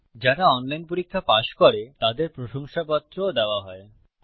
যারা অনলাইন পরীক্ষা পাস করে তাদের প্রশংসাপত্র সার্টিফিকেট ও দেওয়া হয়